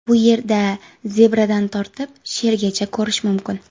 Bu yerda zebradan tortib, shergacha ko‘rish mumkin.